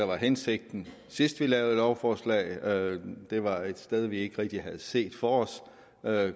var hensigten sidst vi lavede lovforslaget var det et sted vi ikke rigtig havde set for os